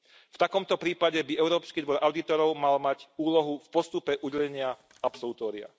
V takomto prípade by Európsky dvor audítorov mal mať úlohu v postupe udelenia absolutória.